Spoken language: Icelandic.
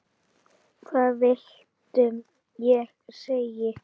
Hvað viltu ég segi?